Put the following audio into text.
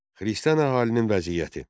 Xristian əhalinin vəziyyəti.